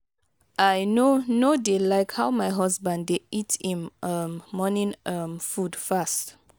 i no no dey like how my husband dey eat im um morning um food fast